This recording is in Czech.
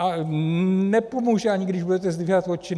A nepomůže ani, když budete zdvihat oči.